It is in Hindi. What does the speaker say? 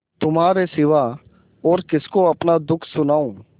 तुम्हारे सिवा और किसको अपना दुःख सुनाऊँ